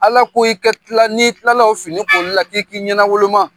Ala ko i ka kila. Ni kilala o fini koli la ki k'i ɲɛna woloma.